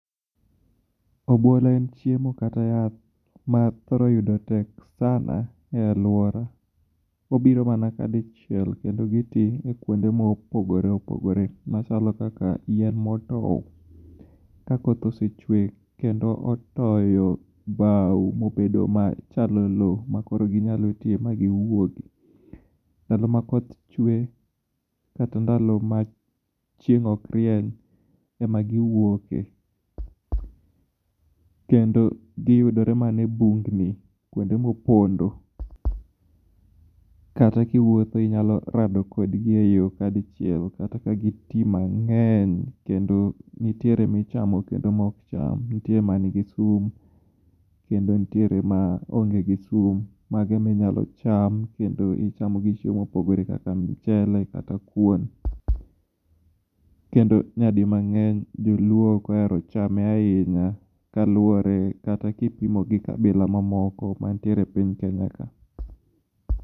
Obuolo en chiemo kata yath ma thoro yudo tek sana e alwora. Obiro mana kadichiel kendo gitii kuonde mopogore opogore machalo kaka yien motow ka koth osechwe kendo otoyo bao mobedo machalo lo makoro ginyalo tiye ma giwuogi. Ndalo ma koth chwe kata ndalo ma chieng' ok rieny ema giwuoke. Kendo giyudore mana e bungni kuonde mopondo kata kiwuotho inyalo rado kodgi e yo kadichiel kata ka gitii mang'eny kendo nitiere michamo kendo mok cham. Nitie mangi sum kendo nitiere maonge gi sum. Mago eminyalo cham kendo icham gi chiemo mopogore kaka mchele kata kuon. Kendo nyadimang'eny joluo ok ohero chame ahinya kaluwore kata kipimo gi kabila mamoko mantiere e piny Kenya ka.